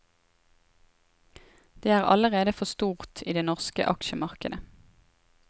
Det er allerede for stort i det norske aksjemarkedet.